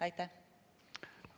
Aitäh!